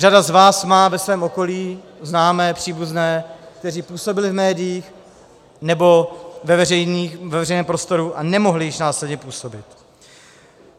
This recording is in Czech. Řada z vás má ve svém okolí známé, příbuzné, kteří působili v médiích nebo ve veřejném prostoru a nemohli již následně působit.